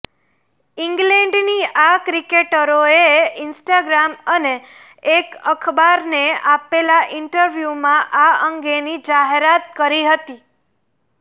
ઈંગ્લેન્ડની આ ક્રિકેટરોએ ઈન્સ્ટાગ્રામ અને એક અખબારને આપેલા ઈન્ટરવ્યૂમાં આ અંગેની જાહેરાત કરી હતી